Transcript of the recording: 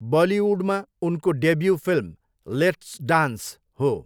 बलिउडमा उनको debut film 'let's dance' हो।